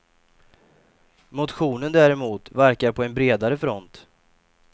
Motionen däremot verkar på en bredare front.